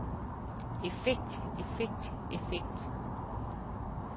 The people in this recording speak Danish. effekt effekt effekt